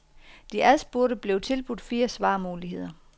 De adspurgte blev tilbudt fire svarmuligheder.